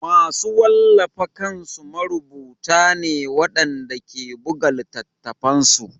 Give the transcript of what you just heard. Masu wallafa kansu marubuta ne waɗanda ke buga littattafansu